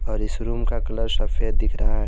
और इस रूम का कलर सफेद दिख रहा है।